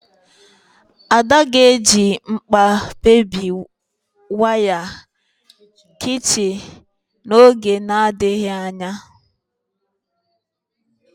Ada ga-eji mkpa bébie waya kichin n'oge na-adịghị anya